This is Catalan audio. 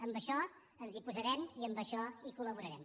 en això ens hi posarem i en això col·laborarem